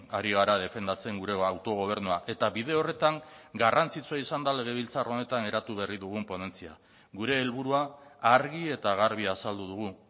ari gara defendatzen gure autogobernua eta bide horretan garrantzitsua izan da legebiltzar honetan eratu berri dugun ponentzia gure helburua argi eta garbi azaldu dugu